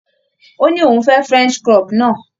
Ó ní òun fẹ́ French crop náà.